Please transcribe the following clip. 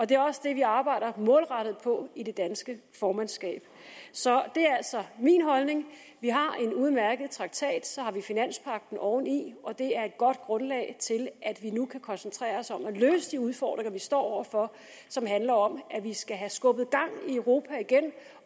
det er også det vi arbejder målrettet på i det danske formandskab så det er altså min holdning vi har en udmærket traktat så har vi finanspagten oveni og det er et godt grundlag til at vi nu kan koncentrere os om at løse de udfordringer vi står over for som handler om at vi skal have skubbet gang i europa igen